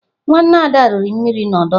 Nwanne Ada riri mmiri n'ọdọ mmiri.